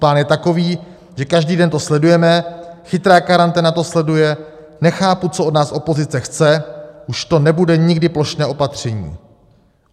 Plán je takový, že každý den to sledujeme, chytrá karanténa to sleduje, nechápu, co od nás opozice chce, už to nebude nikdy plošné patření.